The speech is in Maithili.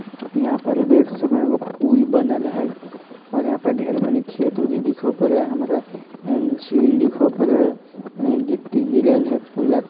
इहां पे देख सको हेय एगो पुल बनल हेय और यहां पर ढेर मनी खेत उत दिखो पड़े हेय हमरा ए झील दिखो पड़े गिट्टी गिरल हेय पुला --